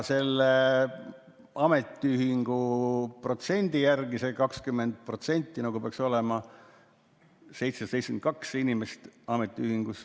Selle ametiühingu protsendi järgi, see 20%, peaks ametiühingus olema 772 inimest.